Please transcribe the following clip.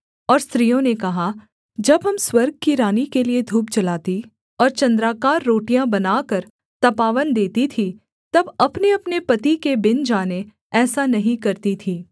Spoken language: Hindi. और स्त्रियों ने कहा जब हम स्वर्ग की रानी के लिये धूप जलाती और चन्द्राकार रोटियाँ बनाकर तपावन देती थीं तब अपनेअपने पति के बिन जाने ऐसा नहीं करती थीं